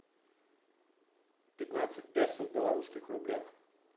пятнадцать песо в белорусских рублях